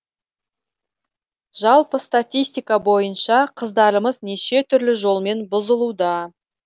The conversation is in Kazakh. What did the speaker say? жалпы статистика бойынша қыздарымыз неше түрлі жолмен бұзылуда